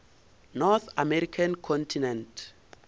north american continent